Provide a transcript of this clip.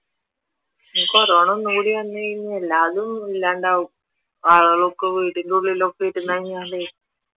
corona ഒന്നും കൂടി വന്നുകഴിഞ്ഞാൽ എല്ലാതും ഇല്ലാണ്ടാകും ആളുകളൊക്കെ വീടിന്റെ ഉള്ളി ഒക്കെ ഇരുന്ന് കഴിഞ്ഞാലേ